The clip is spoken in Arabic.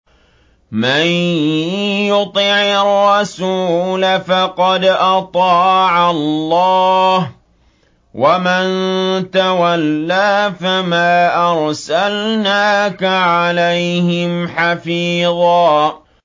مَّن يُطِعِ الرَّسُولَ فَقَدْ أَطَاعَ اللَّهَ ۖ وَمَن تَوَلَّىٰ فَمَا أَرْسَلْنَاكَ عَلَيْهِمْ حَفِيظًا